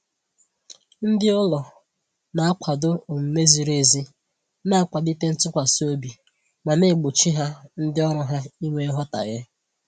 Ndị ụlọ na-akwado omume ziri ezi na-akwalite ntụkwasị obi ma na-egbochi ha ndị ọrụ ha inwe nghọtahie